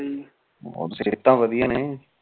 ਹੋਰ ਸਿਹਤਾਂ ਵਧੀਆ ਨੇ